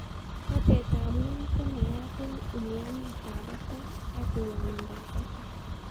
Batet ab ng'weny ko naiyat eng umianeet ab batai ak ng'wonindab batai